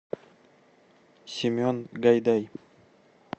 семен гайдай